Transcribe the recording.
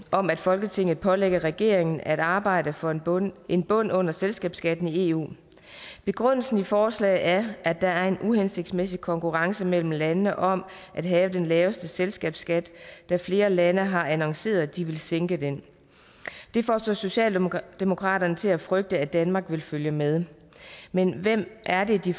om at folketinget pålægger regeringen at arbejde for en bund en bund under selskabsskatten i eu begrundelsen i forslaget er at der er en uhensigtsmæssig konkurrence mellem landene om at have den laveste selskabsskat da flere lande har annonceret at de vil sænke den det får så socialdemokraterne til at frygte at danmark vil følge med men hvem er det de